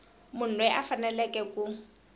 munhu loyi a faneleke ku